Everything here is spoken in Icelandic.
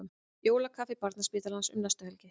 Jólakaffi Barnaspítalans um næstu helgi